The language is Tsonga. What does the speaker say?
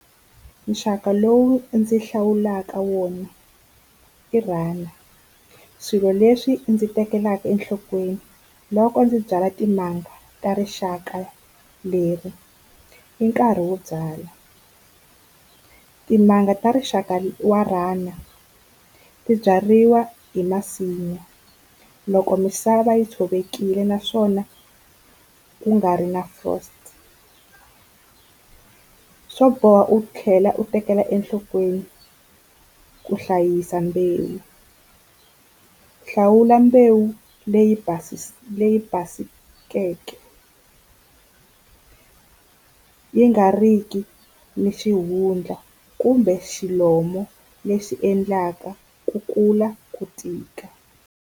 Nxaka lowu ndzi hlawulaka wona i Runner. Swilo leswi ndzi tekelaka enhlokweni loko ndzi byala timanga ta rixaka leri i nkarhi wo byala, timanga ta rixaka wa Runner ti byariwa hi masimu loko misava yi tshovekile naswona ku nga ri na frost. Swo boha u tlhela u tekela enhlokweni ku hlayisa mbewu hlawula mbewu leyi basikeke yi nga riki ni xihundla kumbe xilomo lexi endlaka ku kula ku tika.